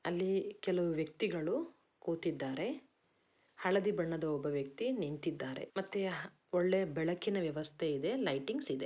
ಅಲ್ಲಿ ಕೆಲವು ವ್ಯಕ್ತಿಗಳು ಕೂತಿದ್ದಾರೆ ಹಳದಿ ಬಣ್ಣದ ಒಬ್ಬ ವ್ಯಕ್ತಿ ನಿಂತಿದ್ದಾರೆ. ಮತ್ತೆ ಒಳ್ಳೆ ಬೆಳಕಿನ ವ್ಯವಸ್ಥೆ ಇದೆ ಲೈಟಿಂಗ್ಸ್ ಇದೆ.